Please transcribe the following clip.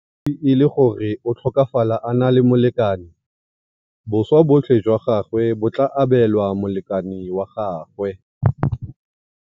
E le gore o tlhokafala a na le molekane, boswa botlhe jwa gagwe bo tla abelwa molekane wa gagwe.